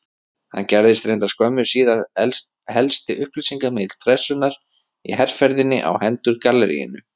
Hann gerðist reyndar skömmu síðar helsti upplýsingamiðill Pressunnar í herferðinni á hendur galleríinu.